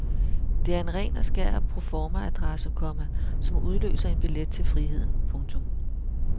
Det er en ren og skær proformaadresse, komma som udløser en billet til friheden. punktum